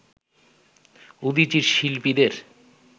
উদীচীর শিল্পীদের